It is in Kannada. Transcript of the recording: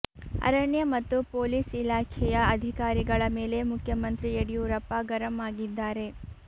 ಅರಣ್ಯ ಮತ್ತು ಪೊಲೀಸ್ ಇಲಾಖೆಯ ಅಧಿಕಾರಿಗಳ ಮೇಲೆ ಮುಖ್ಯಮಂತ್ರಿ ಯಡ್ಡಿಯೂರಪ್ಪ ಗರಂ ಆಗಿದ್ದಾರೆ